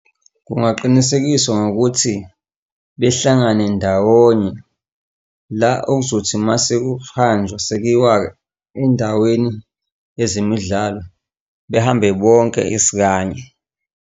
Kungaqinisekiswa ngokuthi behlangane ndawonye la, okuzothi masekuhanjwa sekuyiwa endaweni yezemidlalo, behambe bonke isikanye.